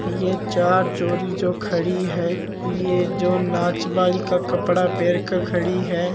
ये चार छोरी जो खड़ी है ये जो नाच बाली का कपडा पैर के खड़ी है।